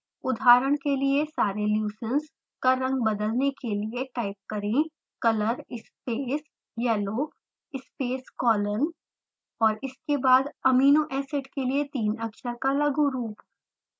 उदहारण के लिए सारे leucines का रंग बदलने के लिए टाइप करें: color space yellow space colon और इसके बाद amino acid के लिए तीन अक्षर का लघु रूप